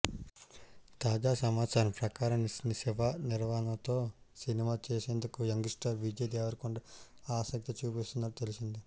తాజా సమాచారం ప్రకారం శివ నిర్వాణతో సినిమా చేసేందుకు యంగ్ స్టార్ విజయ్ దేవరకొండ ఆసక్తి చూపుతున్నట్టు తెలిసింది